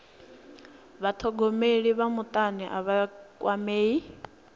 vhathogomeli vha mutani a vha kwamei